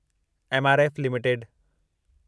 MRF limited